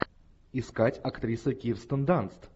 искать актриса кирстен данст